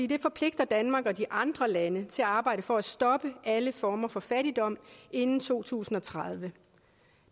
det forpligter danmark og de andre lande til at arbejde for at stoppe alle former for fattigdom inden to tusind og tredive